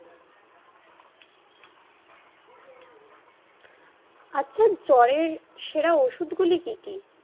আচ্ছা জ্বর এর সেরা ওষুধ গুলি কি কি?